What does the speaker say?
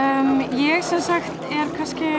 ég sem sagt er